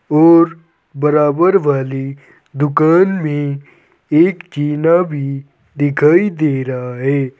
और बराबर वाली दुकान में एक जीना भी दिखाई दे रहा है।